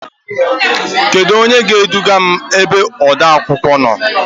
Kedu onye ga-eduga m ebe odeakwụkwọ nọ?